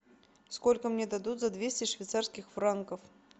сколько мне дадут за двести швейцарских франков